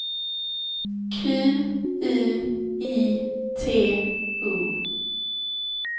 Q U I T O